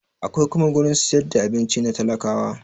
Akwai kuma gurin siyar da abinci na talakawa